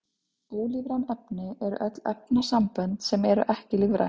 Ólífræn efni eru öll efnasambönd sem eru ekki lífræn.